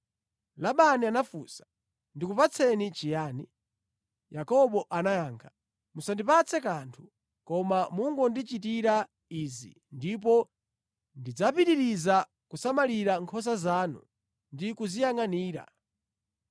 Labani anafunsa, “Ndikupatse chiyani?” Yakobo anayankha, “Musandipatse kanthu. Koma mungondichitira izi ndipo ndidzapitiriza kusamalira nkhosa zanu ndi kuziyangʼanira: